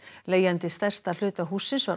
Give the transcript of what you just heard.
leigjandi stærsta hluta hússins var